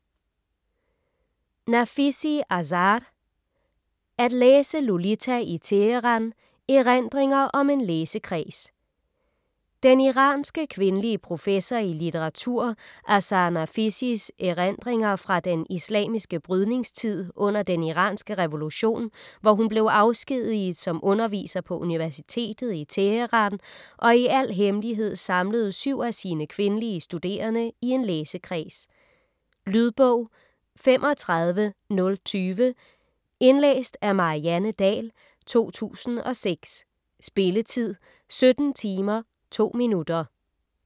Nafisi, Azar: At læse Lolita i Teheran: erindringer om en læsekreds Den iranske kvindelige professor i litteratur Azar Nafisis erindringer fra den islamiske brydningstid under den iranske revolution, hvor hun blev afskediget som underviser på universitetet i Teheran og i al hemmelighed samlede syv af sine kvindelige studerende i en læsekreds. Lydbog 35020 Indlæst af Marianne Dahl, 2006. Spilletid: 17 timer, 2 minutter.